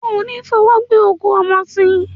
O ní fọwọ́ gbé òkú ọmọ sìn.